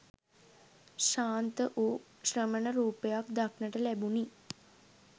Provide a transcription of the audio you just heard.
ශාන්ත වූ ශ්‍රමණ රූපයක් දක්නට ලැබුණි.